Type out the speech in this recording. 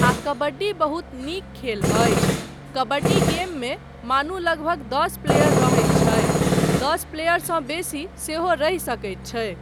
आ कबड्डी बहुत नीक खेल अछि, कबड्डी गेममे मानु लगभग दस प्लेयर रहैत छै, दस प्लेयरसँ बेसी सेहो रहि सकैत छै।